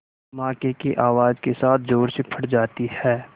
धमाके की आवाज़ के साथ ज़ोर से फट जाती है